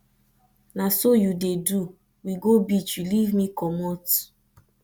na so you dey do we go beach you leave me comot